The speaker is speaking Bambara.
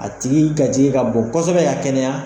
A tigi ka ka bon kosɛbɛ ka kɛnɛya.